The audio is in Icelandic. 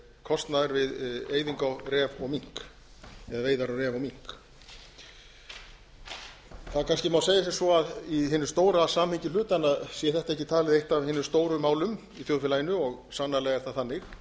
kostnaðar við veiðar á ref og mink það má kannski segja sem svo að í hinu stóra samhengi hlutanna sé þetta ekki talið eitt af hinum stóru málum í þjóðfélaginu og sannarlega er það þannig